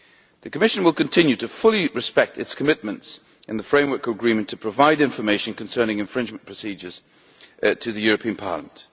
The Commission will continue to fully respect its commitments in the framework agreement to provide information concerning infringement procedures to the European Parliament.